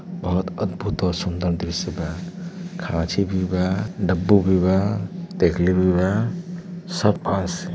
बहोत अद्भुत और सुन्दर दृश्य बा। खाची भी बा। डब्बू भी बा। देखली भी बा। सब पास --